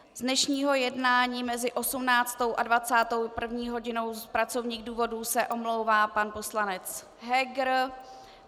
Z dnešního jednání mezi 18. a 21. hodinou z pracovních důvodů se omlouvá pan poslanec Heger.